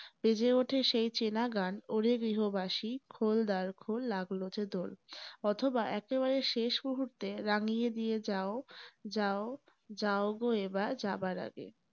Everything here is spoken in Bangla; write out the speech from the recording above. বেজে ওঠে সেই চেনা গান, ওরে গৃহবাসী খোল দ্বার খোল লাগলো যে দোল অথবা একেবারে শেষ মূহুর্তে রাঙিয়ে দিয়ে যাও, যাও, যাও গো এবার যাবার আগে ।